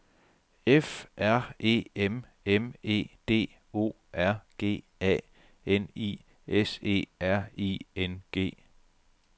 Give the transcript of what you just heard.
F R E M M E D O R G A N I S E R I N G